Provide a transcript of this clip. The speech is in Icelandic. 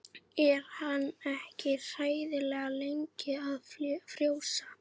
Er hann ekki hræðilega lengi að frjósa?